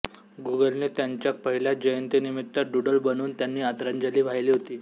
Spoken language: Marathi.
गुगलने त्यांच्या पहिल्या जयंतनिमित्त डुडल बनवून त्यांना आदरांजली वाहिली होती